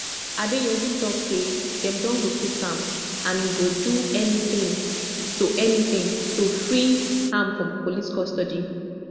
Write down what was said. adeyanju tok say dem don locate am and e go do anytin to anytin to free am from police custody